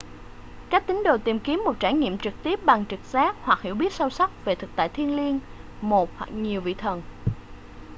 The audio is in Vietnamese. các tín đồ tìm kiếm một trải nghiệm trực tiếp bằng trực giác hoặc hiểu biết sâu sắc về thực tại thiêng liêng/một hoặc nhiều vị thần